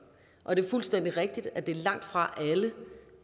og det er fuldstændig rigtigt at det langtfra